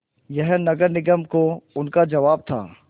यह नगर निगम को उनका जवाब था